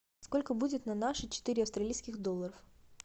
сколько будет на наши четыре австралийских доллара